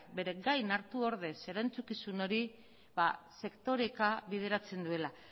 bere gain hartu ordez erantzukizun hori sektoreka bideratzen duela